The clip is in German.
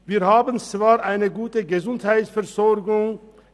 Wir haben zwar eine gute Gesundheitsversorgung.